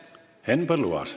Henn Põlluaas.